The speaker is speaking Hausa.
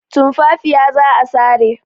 Tumfafiya za a sare.